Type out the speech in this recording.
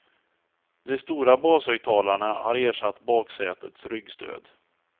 De stora bashögtalarna har ersatt baksätets ryggstöd.